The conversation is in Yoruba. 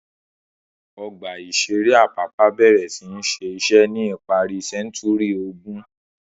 Ọgbà-ìṣeré Apapa bẹ̀rẹ̀ sí ní ṣiṣẹ́ ní ìparí sẹ́ńtúrì ogún.